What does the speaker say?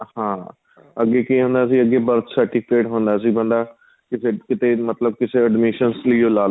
ਹਾਂ ਅੱਗੇ ਕੀ ਹੁੰਦਾ ਸੀ birth certificate ਹੁੰਦਾ ਸੀ ਬੰਦਾ ਕਿਸੇ ਕਿਥੇ ਮਤਲਬ ਕਿਸੇ admissions ਲਈ ਲਾਲੋ